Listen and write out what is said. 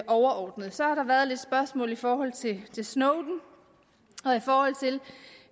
overordnede så har der været nogle spørgsmål i forhold til snowden og i forhold til